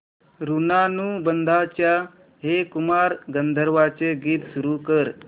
ऋणानुबंधाच्या हे कुमार गंधर्वांचे गीत सुरू कर